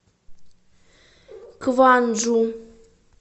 кванджу